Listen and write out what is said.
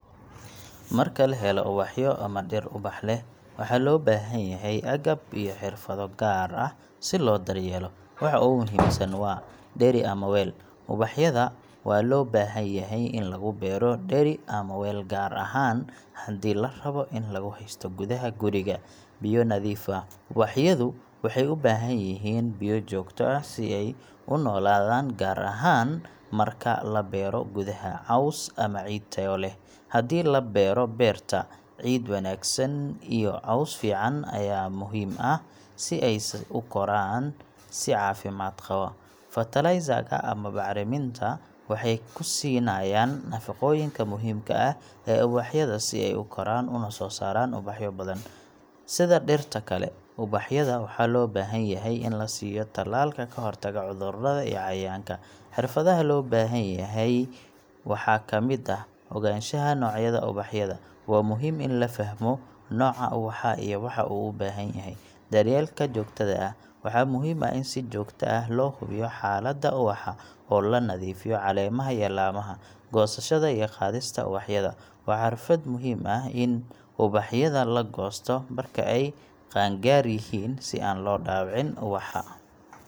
Marka laxelo ubaxyo ama diir ubax leh, waxa lobaxanyaxay aqab iyo xirfado gaar ah, si lo daryelo, waxa ogu muxiim san wa dari ama wel, ubaxyada wa lobaxanyaxay in lagubero deeri ama weel gaar ahan, xadhi larawo in laguxaysto gudaxa guriga, biyo nadiif ah, ubaxyadu waxay ubaxanyixin biyo jogto ah sidhi ay unoladan gaar ahan marka labero gudaxa cowss ama biya tayo leh, xadhii in labero berta, ciid wanagsan iyo cowss fican aya muxiim ah, si ay san ukoran si cfimad qawo, fertiliser ka ama bacraminta, wxay kusinayan nafagoyinka muxiim ah ee ubaxyada si ay ukoran una sosaran ubaxyo badan, sidja dirta kale ubaxyada waxa lobaxanyaxay in lasiyo talalka kaxortago cudurada iyo cayayanka, xirfada lobaxanyaxay waxa lamid ah, oganshaxa nocyada ubaxyada, wa muxiim in lafaxmo noca ubaxa iyo waxa u ubanxanyaxay, daryelka jogtada ah, waxa muxiim ah in si jogta ah loxubiyo xalada ubaxa, o lanadifiyo lacemaxa iyo lamaxa, gosashada iyo qadista ubaxyada wa xirfad muxiim ah in ubaxyada lagosto marka ay qangaryixii si an lodawocin ubaxa.